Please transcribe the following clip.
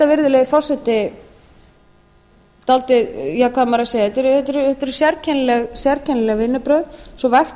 virðulegi forseti dálítið ja hvað á maður að segja þetta eru sérkennileg vinnubrögð svo vægt